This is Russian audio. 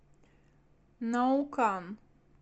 наукан